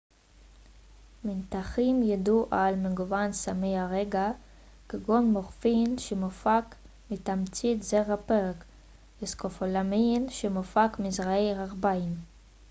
מנתחים ידעו על מגוון סמי הרגעה כגון מורפין שמופק מתמצית זרעי פרג וסקופולאמין שמופק מזרעי הרביין